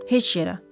Heç yerə.